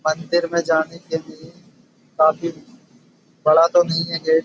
मंदिर में जाने के लिए काफी बड़ा तो नहीं है गेट ।